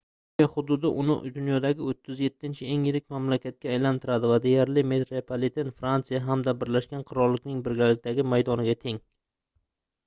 turkiya hududi uni dunyodagi 37-eng yirik mamlakatga aylantiradi va deyarli metropliten fransiya hamda birlashgan qirollikning birgalikdagi maydoniga teng